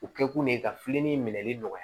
U kɛ kun de ye ka filenin minɛli nɔgɔya